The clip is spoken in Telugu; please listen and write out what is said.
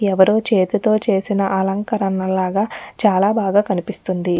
ఎవ్వరో చేతితో చేసిన అలంకరణలాగా చాలా బాగా కనిపిస్తుంది.